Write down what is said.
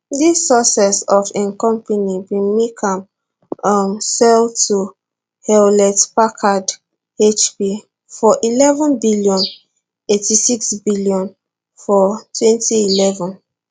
dis success of im company bin make am um sell to hewlett packard hp for eleven billion eight six billion for twenty eleven